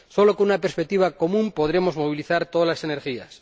Solo con una perspectiva común podremos movilizar todas las energías.